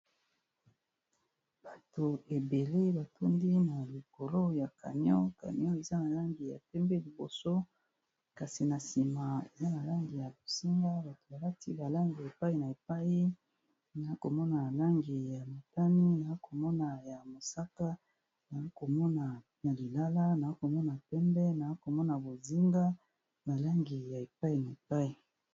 Bato ebele batundi na likolo ya canon canon eza na langi ya pembe, liboso kasi na nsima eza balangi ya bozinga, bato balati balangi ya epai na epai na komona nalangi ya matani ,na komona ya mosaka na komona ya lilala, na komona pembe, na komona bozinga nalangi ya epai na epai.